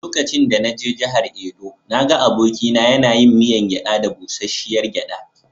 Lokacin da na je jihar Edo, na ga abokina yana yin miyan gyada da busasshiyar gyada.